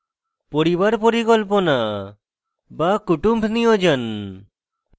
পরিবার পরিকল্পনা বা kutumb niyojan